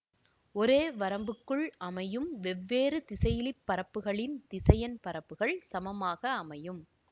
ஒரே வரம்புக்குள் அமையும் வெவ்வேறு திசையிலி பரப்புகளின் திசையன் பரப்புகள் சமமாக அமையும்